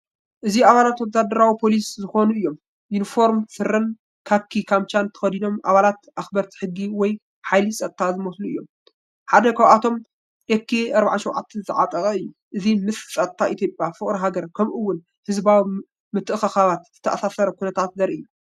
እዚ ኣባላት ወተሃደራዊ/ፖሊስ ዝኮኑ እዩ ።ዩኒፎርም ስረን ካኪ ካምቻን ተኸዲኖም ኣባላት ኣኽበርቲ ሕጊ ወይ ሓይሊ ጸጥታ ዝመስሉ እዮም። ሓደ ካብኣቶም ኤኬ-47 ዝዓጠቐ እዩ። እዚ ምስ ጸጥታ ኢትዮጵያ፡ ፍቕሪ ሃገር፡ ከምኡ'ውን ህዝባዊ ምትእኽኻባት ዝተኣሳሰር ኩነታት ዘርኢ እዩ።